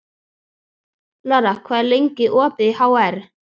Lara, hvað er lengi opið í HR?